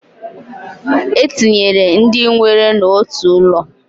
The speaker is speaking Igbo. E tinyere ndị nwere n'otu ụlọ.